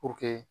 Puruke